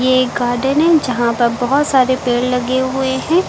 एक गार्डन है जहां पर बहोत सारे पेड़ लगे हुए हैं।